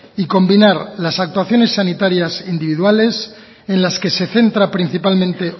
y combinar las actuaciones sanitarias e individuales en las que se centra principalmente